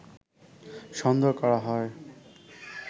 সন্দেহ করা হয়